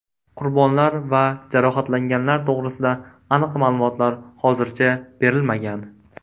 Qurbonlar va jarohatlanganlar to‘g‘risida aniq ma’lumotlar hozircha berilmagan.